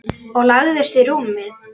Og lagðist í rúmið.